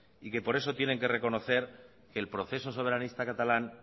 y que por eso también tienen que reconocer que el proceso soberanista catalán